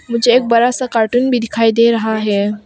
मुझे एक बड़ा सा कार्टून भी दिखाई दे रहा है।